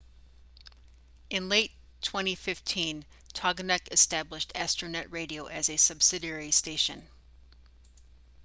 in late 2015 toginet established astronet radio as a subsidiary station